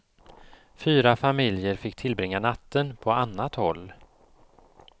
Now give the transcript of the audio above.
Fyra familjer fick tillbringa natten på annat håll.